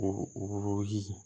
O ji